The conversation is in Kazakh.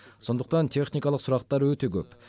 сондықтан техникалық сұрақтар өте көп